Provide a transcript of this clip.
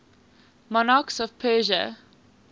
monarchs of persia